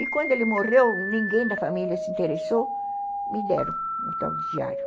E quando ele morreu, ninguém da família se interessou, me deram o tal de diário.